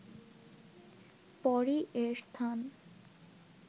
পরই এর স্থান